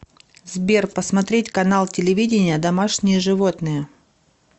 сбер посмотреть канал телевидения домашние животные